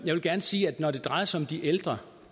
gerne sige at når det drejer sig om de ældre